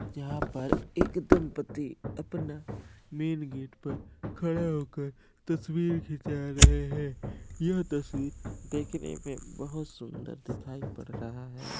यहा पर एक दंपति अपना मेन गेट पर खड़े होकर तस्वीर खींचा रहै हैं यह तस्वीर देखने में बहोत सुंदर दिखाई पड़ रहा है।